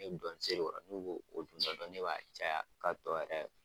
Ne bɛ dɔɔni seri u kɔrɔ n'u bo dun dɔɔni dɔɔni ne b'a caya ka tɔ yɛrɛ